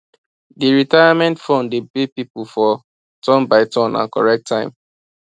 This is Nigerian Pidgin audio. d retirement fund dey pay people for turn by turn and correct time